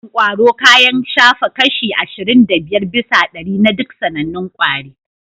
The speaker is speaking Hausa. Irin ƙwaro kayan shafa kashi ashirin da biyar bisa ɗari na duk sanannun kwari